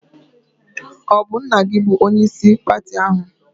Ọ bụ nna gị bụ onyeisi pati ahụ?